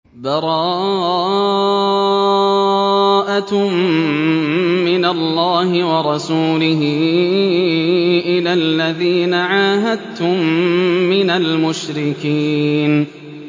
بَرَاءَةٌ مِّنَ اللَّهِ وَرَسُولِهِ إِلَى الَّذِينَ عَاهَدتُّم مِّنَ الْمُشْرِكِينَ